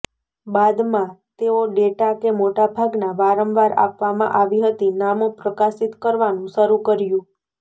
બાદમાં તેઓ ડેટા કે મોટા ભાગના વારંવાર આપવામાં આવી હતી નામો પ્રકાશિત કરવાનું શરૂ કર્યું